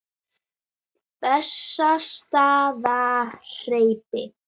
Bessastaðahreppi